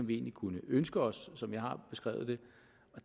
vi egentlig kunne ønske os som jeg har beskrevet det